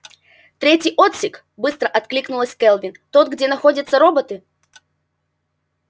третий отсек быстро откликнулась кэлвин тот где находятся роботы